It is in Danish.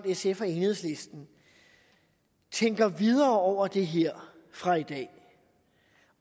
sf og enhedslisten tænker videre over det her fra i dag